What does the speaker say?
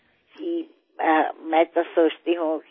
হয় মই ভাবো যে এয়া মোৰ পিতৃমাতৃৰ আশীৰ্বাদ আৰু শ্ৰোতাৰ আশীৰ্বাদ